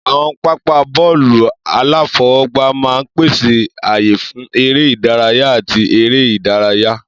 Àwọn pápá bọ́ọ̀lù aláfọwọ́gbá máa ń pèsè ààyè fún eré ìdárayá àti eré ìdárayá.